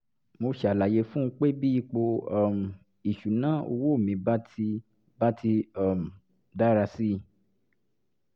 mo ṣàlàyé fún un pé bí ipò um ìṣúnná owó mi bá ti bá ti um dára sí i